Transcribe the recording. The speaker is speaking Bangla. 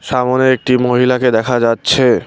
সামোনে একটি মহিলাকে দেখা যাচ্ছে।